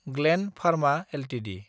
ग्लेन्ड Pharma Ltd